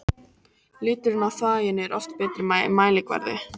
Liturinn á þvaginu er oft betri mælikvarði.